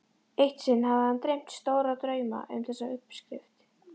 Eitt sinn hafði hann dreymt stóra drauma um þessa uppskrift.